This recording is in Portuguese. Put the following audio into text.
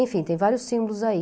Enfim, tem vários símbolos aí.